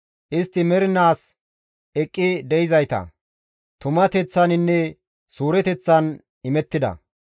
Istti mernaas eqqi de7izayta; tumateththaninne suureteththan imettida.